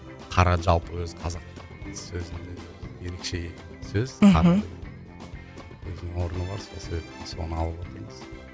қара жалпы өзі қазақтың сөзінде ерекше сөз мхм қара деген өзінің орны бар сол себепті соны алып отырмыз